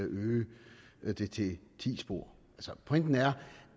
at øge det til ti spor pointen er